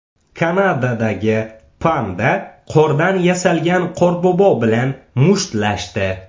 Kanadadagi panda qordan yasalgan Qorbobo bilan mushtlashdi .